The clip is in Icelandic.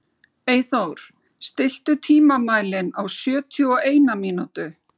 Eyþór, stilltu tímamælinn á sjötíu og eina mínútur.